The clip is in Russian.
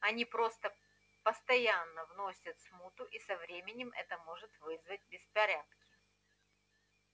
они просто постоянно вносят смуту и со временем это может вызвать беспорядки